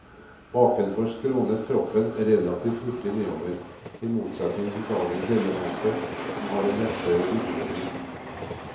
Bakenfor skrånet kroppen relativt hurtig nedover, i motsetning til dagens elefanter som har en rettere rygglinje.